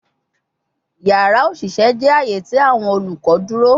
Yara oṣiṣẹ jẹ aaye ti awọn olukọ duro